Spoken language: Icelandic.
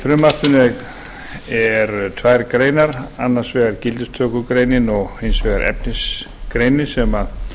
frumvarpinu eru tvær greinar annars vegar gildistökugreinin og hins vegar efnisgreinin sem